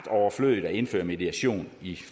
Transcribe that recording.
overflødigt at indføre mediation i